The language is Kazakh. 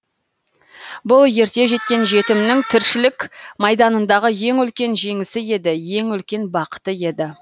бұл ерте жеткен жетімнің тіршілік майданындағы ең үлкен жеңісі еді ең үлкен бақыты еді